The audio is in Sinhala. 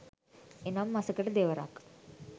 එනම් මසකට දෙවරක්